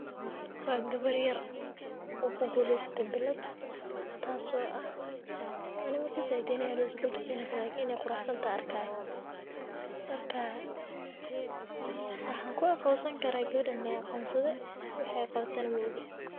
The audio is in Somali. Waa gabar yar oo ku guuleystay billad, taas oo ah, anima kasaayi inadh aroos ay u igeli rabtaa lakiin inay quraxsantahay arkay. Markaa waxaan ku aqoonsan karaa gawadan lee aqoonsaday waxay qawatana mooge.